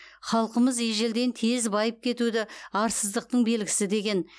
халқымыз ежелден тез байып кетуді арсыздықтың белгісі деген